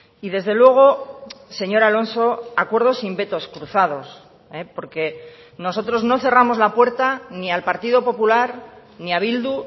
y desde luego señor alonso acuerdos sin vetos cruzados porque nosotros no cerramos la puerta ni al partido popular ni a bildu